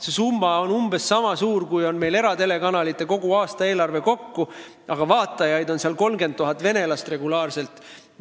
See summa on umbes sama suur kui meie eratelekanalite kogu aastaeelarve, ehkki ETV+-il on regulaarselt 30 000 vene vaatajat.